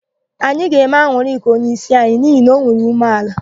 Anyị ga-eme An̄ụlịka onyeísi anyi n'ihi na o nwere ume ala.